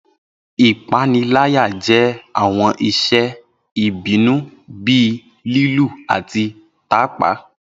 Ipanilaya jẹ awọn iṣe ibinu bii lilu ati tapa.